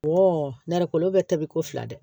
nɛnɛ kolo bɛ tabi ko fila dɛ